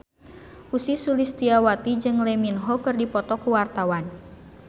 Ussy Sulistyawati jeung Lee Min Ho keur dipoto ku wartawan